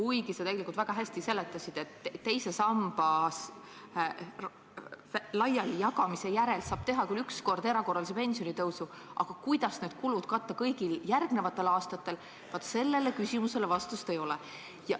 Ent sa tegelikult väga hästi seletasid, et teise samba raha laialijagamise järel saab teha küll üks kord erakorralise pensionitõusu, aga kuidas vajalikud kulud katta kõigil järgmistel aastatel, vaat sellele küsimusele vastust ei ole.